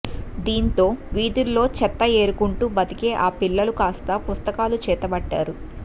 దీంతో వీధుల్లో చెత్త ఏరుకుంటూ బతికే ఆ పిల్లలు కాస్తా పుస్తకాలు చేతబట్టారు